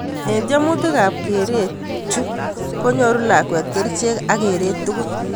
Ing temutik ak kereet chu konyoru lakwet kerchek ak kereet tugul.